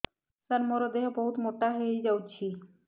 ସାର ମୋର ଦେହ ବହୁତ ମୋଟା ହୋଇଯାଉଛି